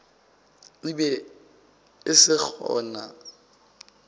e be e se gona